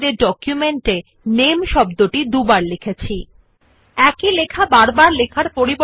উল্লেখ্য আমরা শব্দ নামে করে করে টাইপ দুইবার আমাদের নথিতে আছেNotice that we have typed the word name twice in our document